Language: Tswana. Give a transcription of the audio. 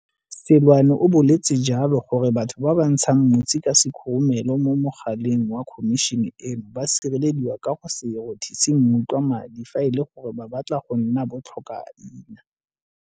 Seloane o boletse jalo gore batho ba ba ntshang mosi ka sekhurumelo mo mogaleng wa Khomišene eno ba sirelediwa ka go se rothise mmutla madi fa e le gore ba batla go nna bo tlhokaina.